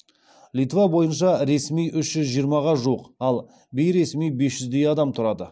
литва бойынша ресми үш жүз жиырмаға жуық ал бейресми бес жүздей адам тұрады